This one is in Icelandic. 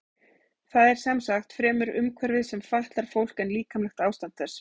Það er sem sagt fremur umhverfið sem fatlar fólk en líkamlegt ástand þess.